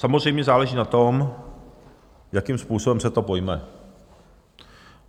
Samozřejmě záleží na tom, jakým způsobem se to pojme.